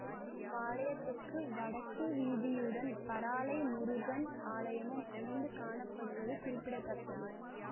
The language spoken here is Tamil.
இவ்வாலயத்திற்கு வடக்கு வீதியுடன் பறாளை முருகன் ஆலயமும் அமைந்து காணப்படுவது குறிப்பிட தக்கது